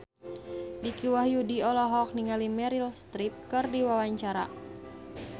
Dicky Wahyudi olohok ningali Meryl Streep keur diwawancara